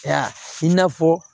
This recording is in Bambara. Ya i n'a fɔ